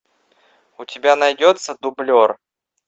у тебя найдется дублер